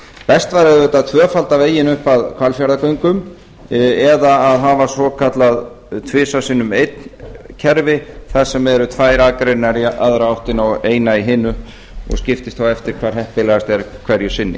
best væri auðvitað að tvöfalda veginn upp að hvalfjarðargöngum eða hafa svokallað tvisvar sinnum einn kerfi þar sem eru tvær akreinar í aðra áttina og ein í hina og skiptist þá eftir hvar heppilegast er hverju sinni